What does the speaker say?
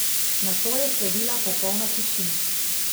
Nato je sledila popolna tišina.